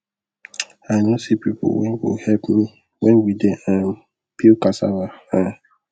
i no see people wen go help me when we dey um peel cassava um